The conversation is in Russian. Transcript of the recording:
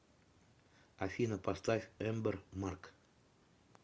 афина поставь эмбер марк